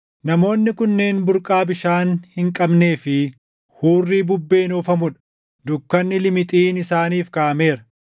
Namoonni kunneen burqaa bishaan hin qabnee fi hurrii bubbeen oofamuu dha. Dukkanni limixiin isaaniif kaaʼameera.